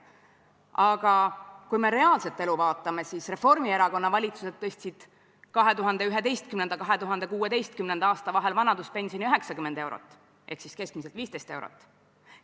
Aga kui me reaalset elu vaatame, siis Reformierakonna valitsused tõstsid aastail 2011–2016 vanaduspensioni 90 eurot ehk keskmiselt 15 eurot.